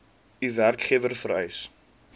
u werkgewer vereis